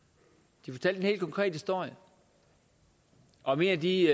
de fortalte en helt konkret historie om en af de